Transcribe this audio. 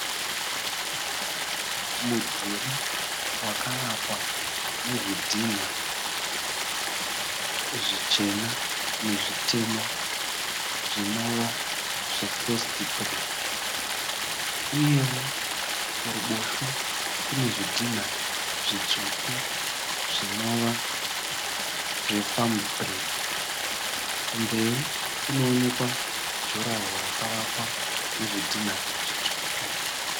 Mudhuri wakavakwa nezvidhinha zvichena nezvitema zvinova zvefesi bhiriki uyewo kuruboshwe kune zvidhina zvitsvuku zvinova zvefamu bhiriki. Kumberi kunoonekwa juraho rakavakwa nezvidhinha zvitsvuku.